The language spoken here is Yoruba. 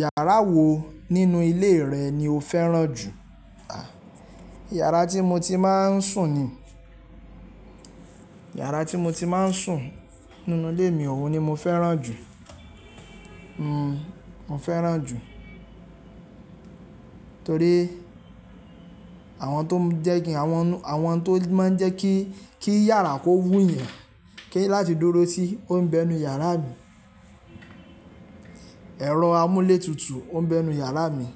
Yàrá wo nínú ilé rẹ̀ ni o fẹ́ràn jù? Iyàrá tí mo ti máa ń sùn ni. Iyàrá tí mo ti máa ń sùn nínú ilé mi, òhun ni mo fẹ́ràn jù. Mo fẹ́ràn jù torí àwọn tó ń jẹ́ kin, àwọn tó máa ń jẹ́ kí, kí iyàrá kó wún eyàn, kí láti dúró sí, o ń bẹ inú yàrá mi. Ẹ̀rọ amúlé tutù o ń bẹ inú yàrá mi.